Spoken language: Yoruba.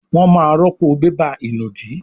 wón má rọpo bébà ìnùdí